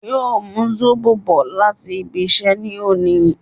Yóò mú Zóbò bò láti ibí iṣẹ́ ní òní